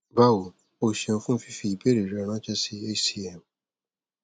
bawo o seun fun fifi ibeere re ranse si hcm